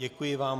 Děkuji vám.